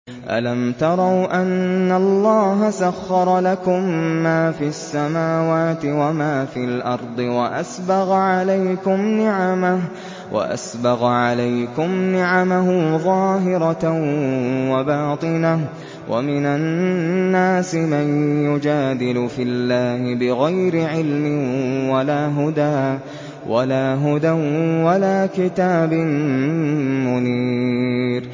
أَلَمْ تَرَوْا أَنَّ اللَّهَ سَخَّرَ لَكُم مَّا فِي السَّمَاوَاتِ وَمَا فِي الْأَرْضِ وَأَسْبَغَ عَلَيْكُمْ نِعَمَهُ ظَاهِرَةً وَبَاطِنَةً ۗ وَمِنَ النَّاسِ مَن يُجَادِلُ فِي اللَّهِ بِغَيْرِ عِلْمٍ وَلَا هُدًى وَلَا كِتَابٍ مُّنِيرٍ